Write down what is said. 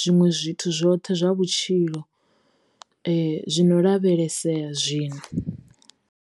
zwiṅwe zwithu zwoṱhe zwa vhutshilo zwino lavhelesea zwino.